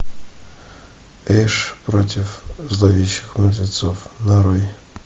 эш против зловещих мертвецов нарой